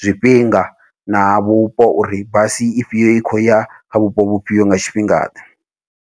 zwifhinga na vhupo uri basi ifhio i khou ya kha vhupo vhufhio nga tshifhingaḓe.